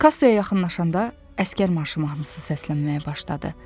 Kassaya yaxınlaşanda əsgər marşı mahnısı səslənməyə başladı.